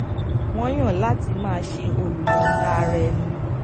wọn yàn láti máa ṣe olùyọǹda ara ẹni